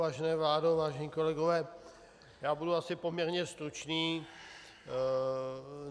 Vážená vládo, vážení kolegové, já budu asi poměrně stručný.